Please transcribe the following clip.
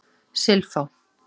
Silfá